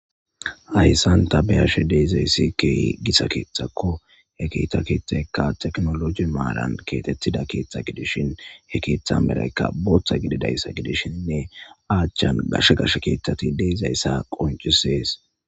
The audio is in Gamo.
Hayssan ta beyashe deizayssi keehi gissa keeththakko he keetha keethakka teknoloji maalan keetettida keeththa gidishin he keeththa ameraykka booththa gididayssa gidishshinne aachchan gashe gashe keeththati deizayssa qoncisees